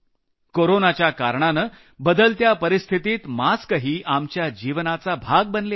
कोरोनाच्या कारणानं बदलत्या परिस्थितीत मास्कही आपल्या जीवनाचा भाग बनले आहेत